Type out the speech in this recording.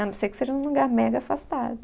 A não ser que seja num lugar mega afastado.